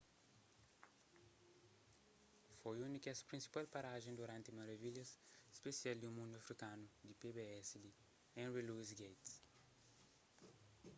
foi un di kes prinsipal parajen duranti maravilhas spesial di mundu afrikanu di pbs di henry louis gates